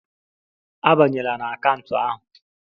Abanyela na akaụntụ ahụ.